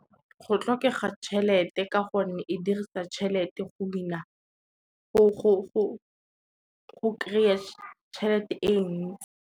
Go tlhokega tšhelete ka gonne e dirisa tšhelete go kry-a tšhelete e ntsi.